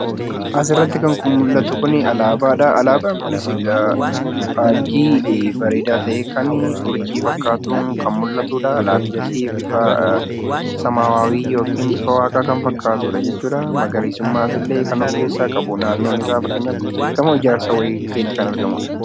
Asirratti kan mul'atu kun, alaabaadha. Alaabaan kunis faajjii bareedaa ta'e, kan urjii fakkaatu kan mul'atudha. Alaabichi bifa waaqaa kan fakkaatudha jechuudha. Magariisummaas illee kan of keessaa qabu naannoo isaa fakkeenyaaf gamoo ijaarsaa bukkeetti kan argamudha.